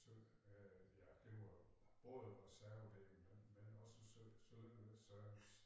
Så øh ja det var både reservedele men også service